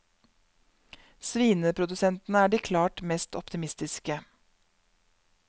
Svineprodusentene er de klart mest optimistiske.